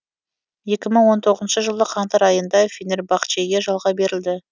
екі мың он тоғызыншы жылы қаңтар айында фенербахчеге жалға берілді